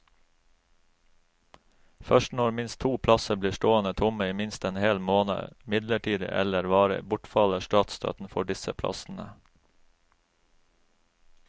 Først når minst to plasser blir stående tomme i minst en hel måned, midlertidig eller varig, bortfaller statsstøtten for disse plassene.